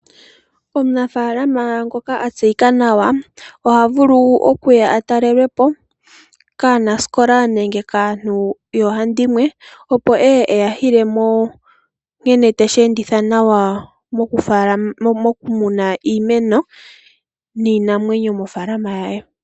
Omunafaalama ngoka a tseyika nawa oha vulu okuya a talelwe po kaanasikola nenge kaantu yoohandimwe, opo eye eya yile mo nkene teshi enditha nawa mokumuna iimeno niinamwenyo mofaalama ye.